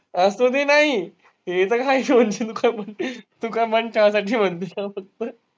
असुदे नाही. तू काय मन ठेवायची म्हणतीये का फक्त.